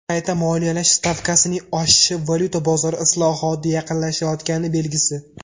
Qayta moliyalash stavkasining oshishi valyuta bozori islohoti yaqinlashayotgani belgisi.